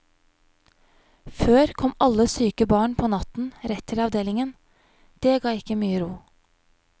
Før kom alle syke barn på natten rett til avdelingen, det ga ikke mye ro.